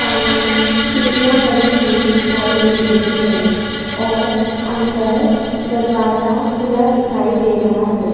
सामने सीढ़िया बनी हुई दिखाई दे रही है और अंदर दरवाजा खुला दिखाई दे रहा है।